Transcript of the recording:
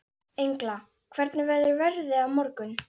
Engla, hvernig verður veðrið á morgun?